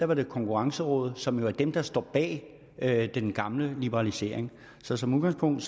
var det konkurrencerådet som jo er det der står bag den gamle liberalisering så som udgangspunkt